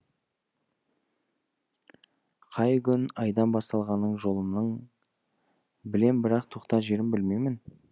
қай күн айдан басталғаның жолымның білем бірақ тоқтар жерін білмеймін